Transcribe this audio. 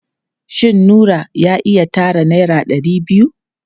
Shin Nura ya iya tara naira ɗari biyu?